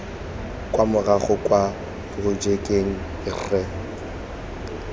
kwa morago kwa porojekeng rre